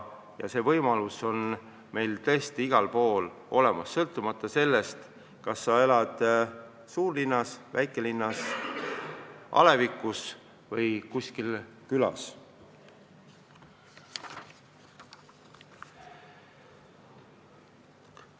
Ja see võimalus on meil tõesti igal pool olemas, sõltumata sellest, kas sa elad suurlinnas, väikelinnas, alevikus või kuskil külas.